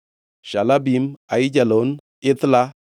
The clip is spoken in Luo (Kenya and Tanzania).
Shalabin, Aijalon, Ithla,